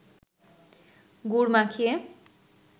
গুড় মাখিয়ে